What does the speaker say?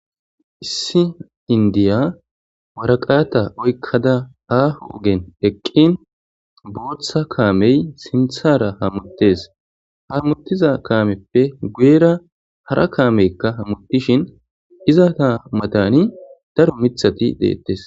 issi indiya waraqaata oykkada aaho ogen eqqin booththa kaamey sinthara hamuttes hamuttiza kaameppe guyera hara kaameykka hamuttishin izata matani daro mithati deettes